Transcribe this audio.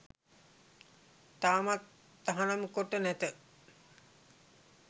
තවමත් තහනම් කොට නැත